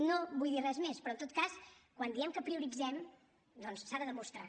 no vull dir res més però en tot cas quan diem que prioritzem doncs s’ha de demostrar